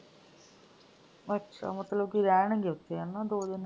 ਅੱਛਾ ਮਤਲਬ ਕਿ ਰਹਿਣਗੇ ਉੱਥੇ ਹਨਾ ਦੋ ਦਿਨ।?